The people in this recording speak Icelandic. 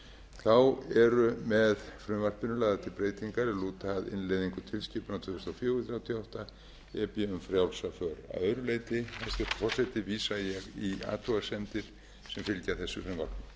þá eru með frumvarpinu lagðar til breytingar er lúta að innleiðingu tilskipunar tvö þúsund og fjögur þrjátíu og átta e b um frjálsa för að öðru leyti hæstvirtur forseti vísa ég í athugasemdir sem fylgja þessu frumvarpi og